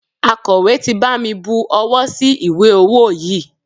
Akọ̀wé ti bami bu owó sí ìwé ọwó yìí.